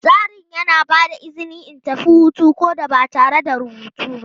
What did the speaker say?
Tsarin yana ba da izini in tafi hutu ko da ba tare da rubutu ba.